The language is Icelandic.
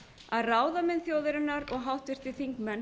að ráðamenn þjóðarinnar og háttvirtir þingmenn